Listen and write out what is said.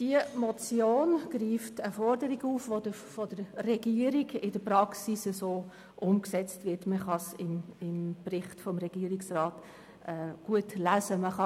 Diese Motion greift eine Forderung auf, welche gemäss Regierung in der Praxis bereits umgesetzt wird, wie Sie im Bericht des Regierungsrates lesen können.